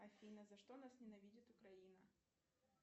афина за что нас ненавидит украина